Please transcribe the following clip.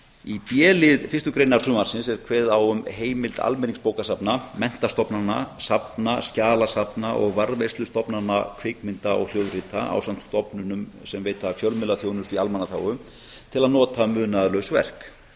í b lið fyrstu greinar frumvarpsins er kveðið á um heimild almenningsbókasafna menntastofnana safna skjalasafna og varðveislustofnana kvikmynda og hljóðrita ásamt stofnunum sem veita fjölmiðlaþjónustu í almannaþágu til að nota munaðarlaus verk